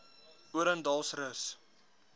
odendaalsrus